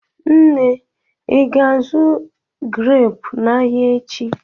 Nne, Ị ga-azụ greepụ n'ahịa echi?